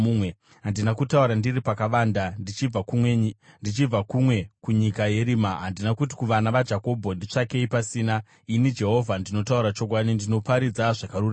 Handina kutaura ndiri pakavanda, ndichibva kumwe kunyika yerima; handina kuti kuvana vaJakobho, ‘Nditsvakei pasina.’ Ini, Jehovha ndinotaura chokwadi; ndinoparidza zvakarurama.